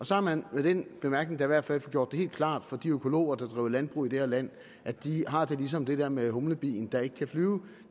så har man med den bemærkning da i hvert fald fået gjort det helt klart for de økologer der driver landbrug i det her land at de har det ligesom det der med humlebien der ikke kan flyve